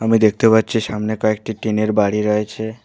আমি দেখতে পাচ্ছি সামনে কয়েকটি টিন -এর বাড়ি রয়েছে।